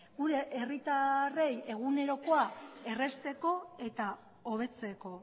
gure herritarrei egunerokoa errazteko eta hobetzeko